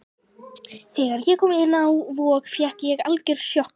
Þegar ég kom inn á Vog fékk ég algjört sjokk.